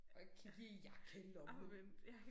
Og ikke kig i jakkelommen